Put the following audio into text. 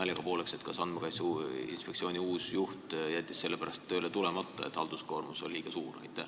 Naljaga pooleks, kas Andmekaitse Inspektsiooni uus juht jättis selle pärast tööle tulemata, et halduskoormus on liiga suur?